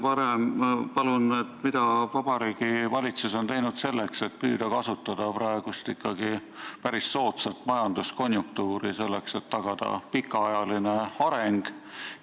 Ja ütelge palun, mida Vabariigi Valitsus on teinud selleks, et püüda kasutada praegust päris soodsat majanduskonjunktuuri selleks, et tagada pikaajaline areng!